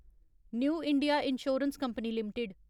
new India assurance company limited